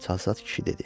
Çalsat kişi dedi.